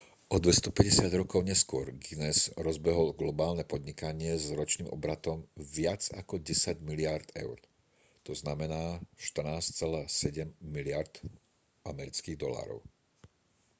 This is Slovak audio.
o 250 rokov neskôr guinness rozbehol globálne podnikanie s ročným obratom viac ako 10 miliárd eur 14,7 miliárd usd